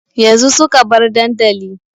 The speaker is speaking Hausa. Yanzu suka bar dandali